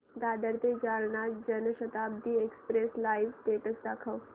दादर ते Jalna Janshatabdi express live status दाखव